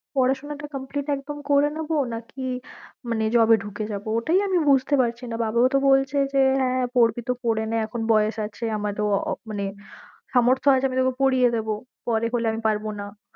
পড়াশোনাটা complete একদম করে নেবো নাকি মানে job এ ঢুকে যাবো ওইটাই আমি বুঝতে পারছি না, বাবা মা তো বলছে যে হ্যা পড়বি তো পড়ে নে এখন বয়েস আছে আমাদেরও মানে সামর্থ আছে আমি তোকে পড়িয়ে দেবো পরে করলে আমি পারবো না